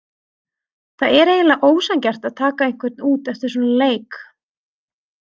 Það er eiginlega ósanngjarnt að taka einhvern út eftir svona leik.